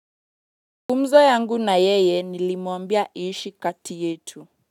Gumzo yangu na yeye nilimuambia iishi kati yetu.